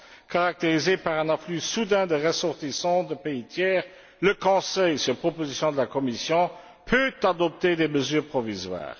caractérisée par un afflux soudain de ressortissants de pays tiers, le Conseil, sur proposition de la Commission, peut adopter des mesures provisoires.